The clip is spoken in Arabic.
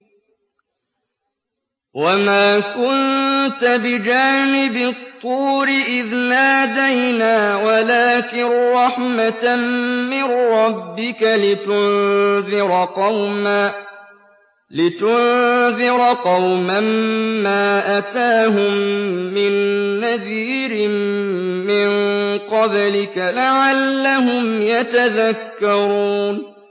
وَمَا كُنتَ بِجَانِبِ الطُّورِ إِذْ نَادَيْنَا وَلَٰكِن رَّحْمَةً مِّن رَّبِّكَ لِتُنذِرَ قَوْمًا مَّا أَتَاهُم مِّن نَّذِيرٍ مِّن قَبْلِكَ لَعَلَّهُمْ يَتَذَكَّرُونَ